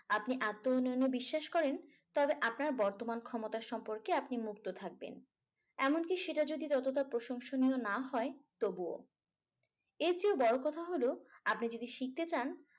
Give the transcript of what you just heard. আপনি আত্ম উন্নয়নে বিশ্বাস করেন? তবে আপনার বর্তমান ক্ষমতা সম্পর্কে আপনি মুক্ত থাকবেন। এমনকি সেটা যদি ততটা প্রশংসনীয় না হয় তবুও। এর চেয়ে বড় কথা হলো আপনি যদি শিখতে চান